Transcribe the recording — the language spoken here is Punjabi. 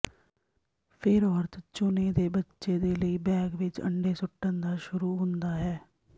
ਫਿਰ ਔਰਤ ਚੁਣੇ ਦੇ ਬੱਚੇ ਦੇ ਲਈ ਬੈਗ ਵਿੱਚ ਅੰਡੇ ਸੁੱਟਣ ਦਾ ਸ਼ੁਰੂ ਹੁੰਦਾ ਹੈ